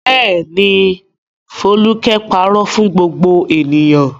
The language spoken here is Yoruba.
Bẹ́ẹ̀ ni, Folúkẹ́ pàrọ̀ fún gbogbo ènìyàn.